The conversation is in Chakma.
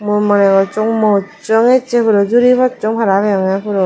mui moneh gossong mojjong ecche puro juri possong para peyonge puro.